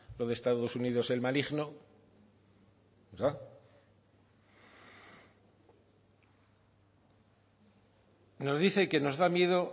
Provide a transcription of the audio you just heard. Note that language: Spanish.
lo de estados unidos el maligno verdad nos dice que nos da miedo